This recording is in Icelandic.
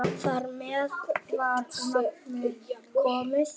Þar með var nafnið komið.